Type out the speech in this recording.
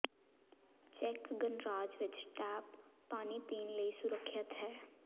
check ਗਣਰਾਜ ਵਿਚ tap ਪਾਣੀ ਪੀਣ ਲਈ ਸੁਰੱਖਿਅਤ ਹੈ